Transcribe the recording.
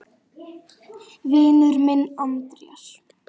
Vinur minn Andrés!